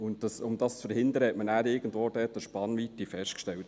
Um dies zu verhindern, hat man dort irgendwo eine Spannweite festgelegt.